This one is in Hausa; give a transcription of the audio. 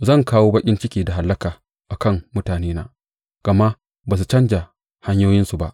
Zan kawo baƙin ciki da hallaka a kan mutanena, gama ba su canja hanyoyinsu ba.